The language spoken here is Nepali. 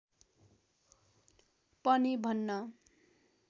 पनि भन्न